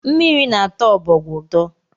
Mmiri na-atọ ọbọgwụ ụtọ